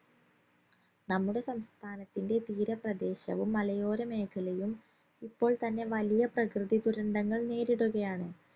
നമ്മുടെ സംസ്ഥാനത്തിന്റെ തീരപ്രദേശവും മലയോര മേഖലയും ഇപ്പോൾ തന്നെ വലിയ പ്രകൃതി ദുരന്തങ്ങൾ നേരിടുകയാണ്